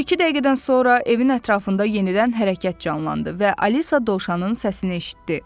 Bir-iki dəqiqədən sonra evin ətrafında yenidən hərəkət canlandı və Alisa Dovşanın səsini eşitdi.